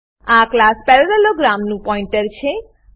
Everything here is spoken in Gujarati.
આ ક્લાસ પેરાલેલોગ્રામ નું પોઇન્ટર છે